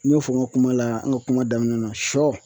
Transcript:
N y'o fɔ n ka kuma la n ka kuma daminɛ na , sɔ